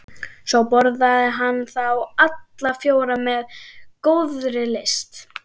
Svo borðaði hann þá alla fjóra með góðri lyst.